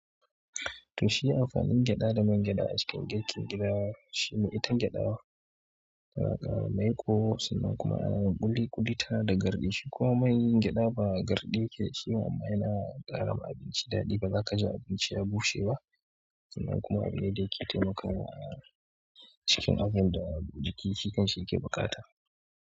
Toh shi amfanin gyaɗa da man gyaɗa a cikin girkin gida shi ne ita gyaɗa tana ƙara maiƙo sannan kuma ana ƙuli ƙuli tana da garɗi, shi kuma man gyaɗa ba garɗi yakeda shi ba, yana ƙara ma abinci daɗi ba za ka ji abinci ya bushe ba sannan kuma abu ne da yake taimakawa a cikin abun da jiki shi kan shi ya ke baƙata.